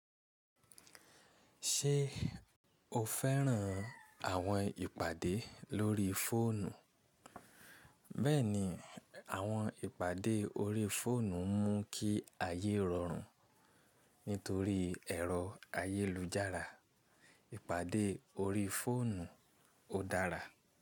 Ṣé o fẹ́ràn àwọn ìpàdé lórí fóònù? Bẹ́ẹ̀ni, àwọn ìpàdé ori fóònù ń mú kí ayé rọrùn nítorí ẹ̀rọ ayélujára. Ìpàdé ori fóònù ó dára.